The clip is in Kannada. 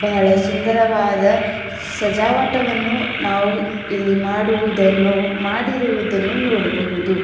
ಬಹಳ ಸುಂದರವಾದ ಸಜಾವಟವನ್ನು ನಾವು ಇಲ್ಲಿ ಮಾಡುವುದನ್ನು ಮಾಡಿರುವುದನ್ನು ನೋಡಬಹುದು.